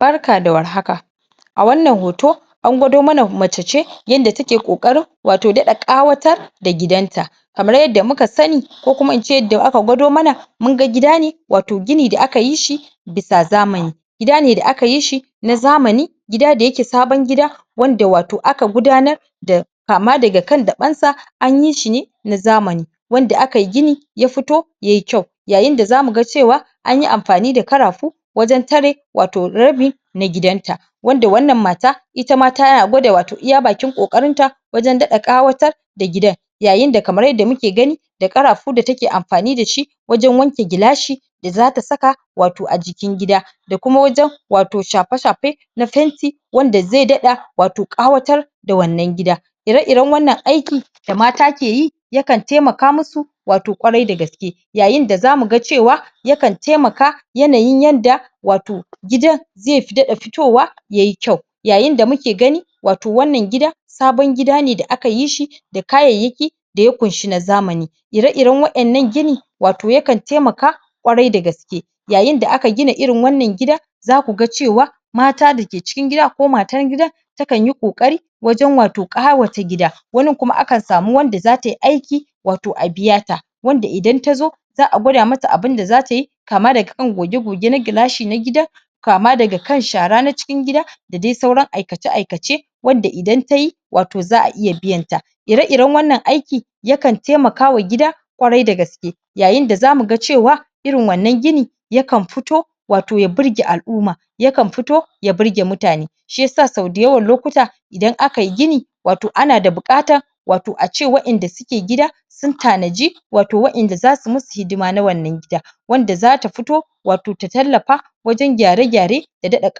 Barka da war haka a wannan hoto an gwado mana mace yanda take ƙoƙarin wato daɗa ƙawatar da gidanta kamar yadda muka sani ko kuma ince yadda aka gwado mana mun ga gida ne wato gini da aka yi shi bisa zamani gida ne da aka yi shi na zamani gida da yake sabon gida wanda wato aka gudanar da kama daga kan daɓensa an yi shi ne na zamani wanda aka yi gini ya fito ya yi kyau yayin da za mu ga cewa an yi amfani da karafu wajen tare wato rabi na gidanta wanda wannan mata ita ma tana gwada wato iya bakin ƙoƙarinta wajen daɗa ƙawatar da gidan yayin da kamar yadda muke gani da ƙarafu da take amfani da shi wajen wanke gilashi da za ta saka wato a jikin gida da kuma wajen wato shafe-shafe na fenti wanda ze daɗa wato ƙawatar da wannan gida ire-iren wannan aiki da mata ke yi ya kan temaka musu wato kwarai da gaske yayin da za mu ga cewa ya kan temaka yanayin yanda wato gidan ze daɗa fitowa ya yi kyau yayin da muke gani wato wannan gida sabon gida ne da aka yi shi da kayayyaki da ya kunshi na zamani ire-iren waƴannan gini wato ya kan temaka kwarai da gaske yayin da aka gina irin wannan gida za ku ga cewa mata dake cikin gida ko matar gidan ta kan yi ƙoƙari wajen wato ƙawata gida wanin kuma akan samu wanda za ta yi aiki wato a biya ta wanda idan ta zo za a gwada ma ta abin da za ta yi kama daga kan goge na gilashi na gidan kama daga kan shara na cikin gida da de sauran aikace-aikace wanda idan ta yi wato za a iya biyan ta ire-iren wannan aiki ya kan temakawa gida kwarai da gaske yayin da za mu ga cewa irin wannan gini ya kan fito wato ya burge al'uma ya kan fito ya burge mutane shi yasa sau dayawan lokuta idan aka yi gini wato ana da buƙatan wato ace waƴanda suke gina sun tanaji wato waƴanda za su musu hidima na wannan gida wanda za ta fito wato ta tallafa wajen gyare-gyare da daɗa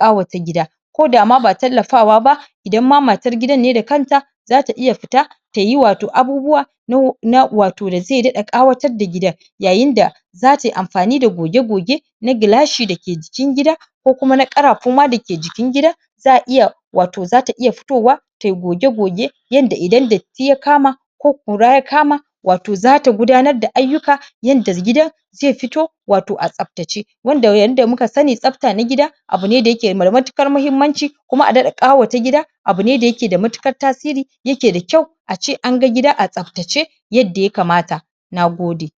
ƙawata gida ko da ma ba tallafawa idan ma matar gidan ne da kanta za ta iya fita ta yi wato abubuwa na wato da ze daɗa ƙawatar da gidan yayin da za tai amfani da goge na gilashi dake jikin gida ko kuma na ƙarafu ma dake jikin gidan za a iya wato za ta iya fitowa ta yi goge yanda idan datti ya kama ko kura ya kama wato za ta gudanar da ayyuka yanda gidan ze fito wato a tsaftace wanda yanda muka sani tsafta na gida abu ne da yake da matukar muhimmanci kuma a daɗa ƙawata gida abu ne da yake da matukar tasiri yake da kyau ace an ga gida a tsaftace yadda ya kamata na gode